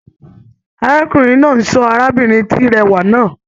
Arákùnrin náà n sọ arábìnrin ti rẹwa náà.